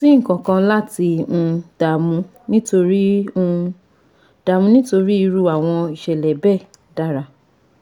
Kò sí nkankan láti um dààmú nítorí um dààmú nítorí irú àwọn ìṣẹ̀lẹ̀ bẹ́ẹ̀ dára